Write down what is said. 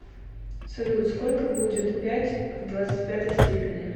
салют сколько будет пять в двадцать пятой степени